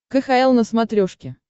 кхл на смотрешке